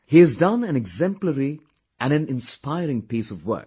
He has done an exemplary and an inspiring piece of work